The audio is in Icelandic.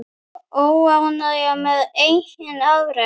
Óánægja með eigin afrek.